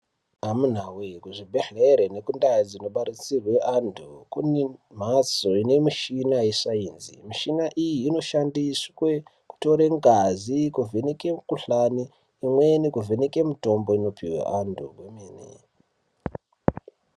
Amunawe ku zvibhedhlere neku ndau dzino batsirwe antu kune mhatso ine michina ye sainzi mishina iyi ino shandiswe kutore ngazi kuvheneke mi kuhlani imweni mu vheneke mitombo inopuhwa antu kwemene.